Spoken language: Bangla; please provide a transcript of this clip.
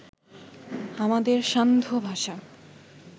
আমাদের সান্ধ্যভাষা